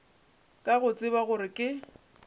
ka go tseba gore ke